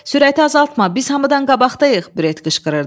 Sürəti azaltma, biz hamıdan qabaqdayıq, Bret qışqırırdı.